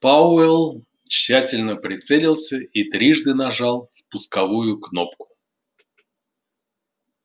пауэлл тщательно прицелился и трижды нажал спусковую кнопку